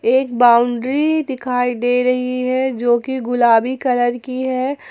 एक बाउंड्री दिखाई दे रही है जो की गुलाबी कलर की है।